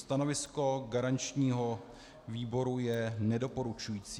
Stanovisko garančního výboru je nedoporučující.